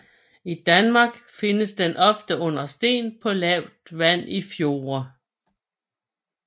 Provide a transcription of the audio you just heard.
I Danmark findes den ofte under sten på lavt vand i fjorde